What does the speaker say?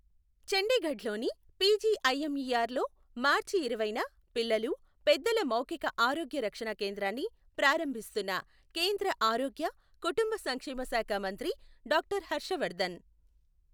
చండీగఢ్ లోని పిజిఐఎంఇఆర్ లో మార్చి ఇరవైన పిల్లలు, పెద్దల మౌఖిక ఆరోగ్య రక్షణ కేంద్రాన్ని ప్రారంభిస్తున్న కేంద్ర ఆరోగ్య, కుటుంబ సంక్షేమ శాఖామంత్రి డాక్టర్ హర్షవర్ధన్.